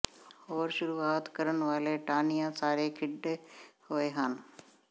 ਹੋਰ ਸ਼ੁਰੂਆਤ ਕਰਨ ਵਾਲੇ ਟਾਹਣੀਆਂ ਸਾਰੇ ਖਿੰਡੇ ਹੋਏ ਹਨ